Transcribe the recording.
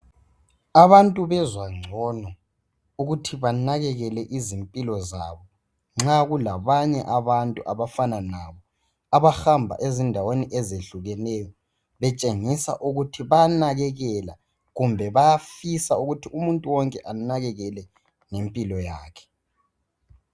Abantu bezwa ngcono ukuthi banakelele izimpilo zabo nxa kulabantu abafana labo abahamba ezindaweni ezehlukeneyo betshengisa ukuthi bayanekelela izimpilo zabo. Kumbe bayafisa ukuthi umuntu wonke anakelele izimpilo zabo.